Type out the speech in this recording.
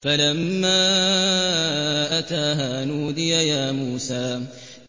فَلَمَّا أَتَاهَا نُودِيَ يَا مُوسَىٰ